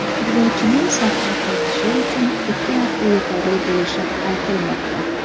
Futbolchining safga qaytishi uchun ikki hafta yetarli bo‘lishi aytilmoqda.